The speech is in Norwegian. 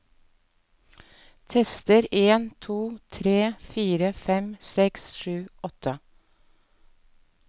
Tester en to tre fire fem seks sju åtte